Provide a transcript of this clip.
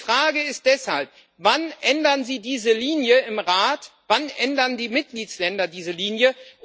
Die Frage ist deshalb Wann ändern Sie diese Linie im Rat? Wann ändern die Mitgliedstaaten diese Linie?